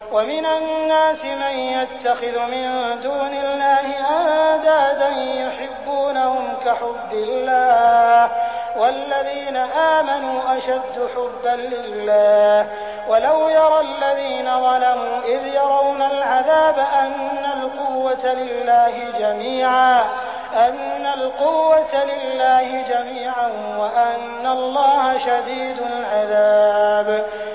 وَمِنَ النَّاسِ مَن يَتَّخِذُ مِن دُونِ اللَّهِ أَندَادًا يُحِبُّونَهُمْ كَحُبِّ اللَّهِ ۖ وَالَّذِينَ آمَنُوا أَشَدُّ حُبًّا لِّلَّهِ ۗ وَلَوْ يَرَى الَّذِينَ ظَلَمُوا إِذْ يَرَوْنَ الْعَذَابَ أَنَّ الْقُوَّةَ لِلَّهِ جَمِيعًا وَأَنَّ اللَّهَ شَدِيدُ الْعَذَابِ